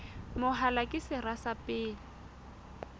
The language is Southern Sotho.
mahola ke sera sa pele